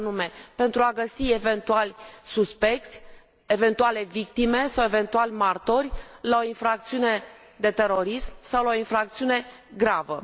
și anume pentru a găsi eventuali suspecți, eventuale victime sau eventuali martori la o infracțiune de terorism sau la o infracțiune gravă.